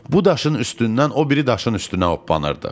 Bu daşın üstündən o biri daşın üstünə ooppanırdıq.